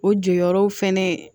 O jɔyɔrɔw fɛnɛ